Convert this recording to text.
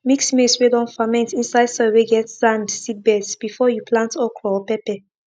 mix maize whey don ferment inside soil whey get sand seedbeds before you plant okra or pepper